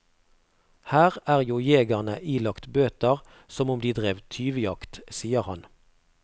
Her er jo jegerne ilagt bøter som om de drev tyvjakt, sier han.